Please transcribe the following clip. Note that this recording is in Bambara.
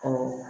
Ɔ